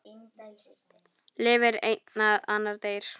Lifir einn en annar deyr?